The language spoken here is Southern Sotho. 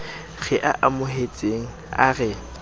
re a amohetseng a re